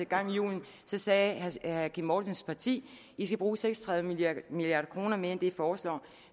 gang i hjulene sagde herre kim mortensens parti i skal bruge seks og tredive milliard kroner mere end det i foreslår